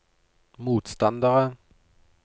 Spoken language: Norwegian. motstandere